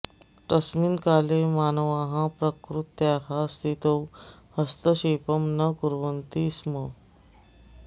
तस्मिन् काले मानवाः प्रकृत्याः स्थितौ हस्तक्षेपं न कुर्वन्ति स्म